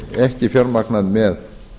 ekki fjármagnað með